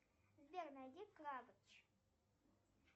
сбер найди крабыч